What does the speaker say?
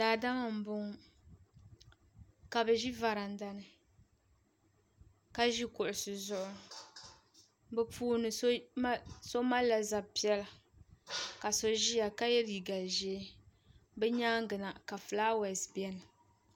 Daadama m boŋɔ ka bɛ ʒi varanda ni ka ʒi kuɣusi zuɣu bɛ puuni so malila zab'piɛlla ka so ʒia ka ye liiga ʒee bɛ nyaanga na filaawaasi biɛni.